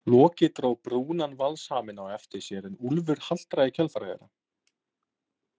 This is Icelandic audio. Loki dró brúnan valshaminn á eftir sér en Úlfur haltraði í kjölfar þeirra.